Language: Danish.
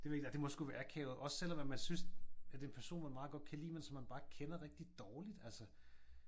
Det ved jeg ikke. Ej det må sgu være akavet også selvom at man synes at det er en person man meget godt kan lide men som man bare kender rigtigt dårligt altså